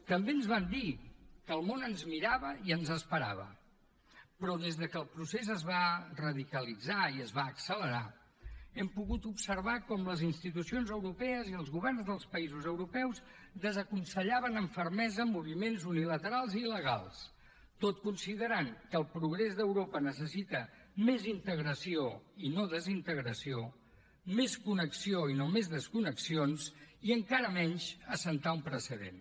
també ens van dir que el món ens mirava i ens esperava però des que el procés es va radicalitzar i es va accelerar hem pogut observar com les institucions europees i els governs dels països europeus desaconsellaven amb fermesa moviments unilaterals i il·legals tot considerant que el progrés d’europa necessita més integració i no desintegració més connexió i no més desconnexions i encara menys assentar un precedent